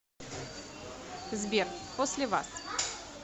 сбер после вас